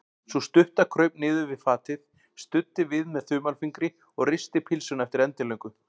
Sú stutta kraup niður við fatið, studdi við með þumalfingri og risti pylsuna eftir endilöngu.